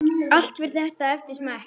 Allt fer þetta eftir smekk.